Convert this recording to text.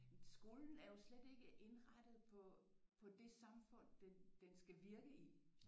Skolen er jo slet ikke indrettet på på det samfund den den skal virke i